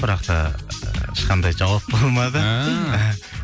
бірақ та ешқандай жауап болмады ііі